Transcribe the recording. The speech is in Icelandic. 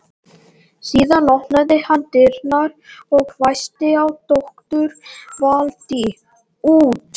Síðan opnaði hann dyrnar og hvæsti á doktor Valtý: út.